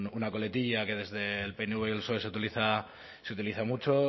una coletilla que desde el pnv y el soe se utiliza mucho